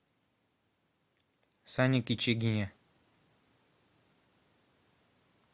сане кичигине